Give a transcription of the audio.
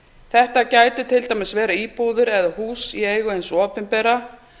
þetta gætu til dæmis verið íbúðir eða hús í eigu hins opinbera